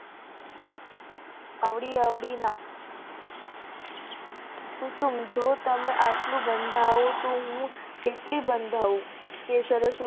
અવળી અવળી ના કુસુમ જો તમે આટલું બાંધવ તો હું કેટલી બાંધવ તે